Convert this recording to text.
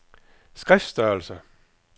skriftstørrelse